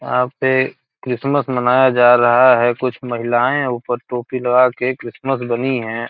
यहाँ पे क्रिसमस मनाया जा रहा है कुछ महिलायें ऊपर टोपी लगा के क्रिसमस बनी हैं |